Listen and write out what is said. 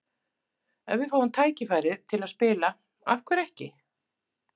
Ef við fáum tækifærið til að spila, af hverju ekki?